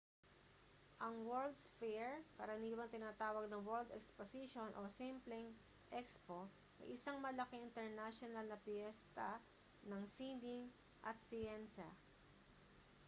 ang world's fair karaniwang tinatawag na world exposition o simpleng expo ay isang malaking internasyonal na piyesta ng sining at siyensya